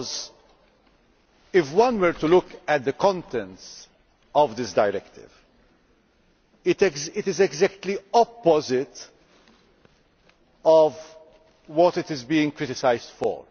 Because, if one were to look at the content of this directive, it is exactly the opposite of what it is being criticised for.